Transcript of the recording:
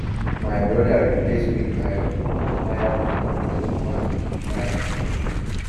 my brother replace wheelbarrow tyre tube with one he buy market